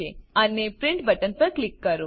અને print button પર click કરો